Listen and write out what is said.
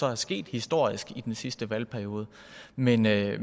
er sket historisk i den sidste valgperiode men jeg